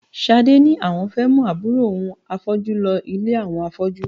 Ṣadé ni àwọn fẹ́ mú àbúrò òun afọ́jú lọ ilé àwọn afọ́jú